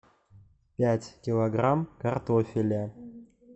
пять килограмм картофеля